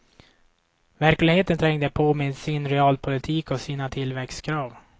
Verkligheten trängde på, med sin realpolitik och sina tillväxtkrav.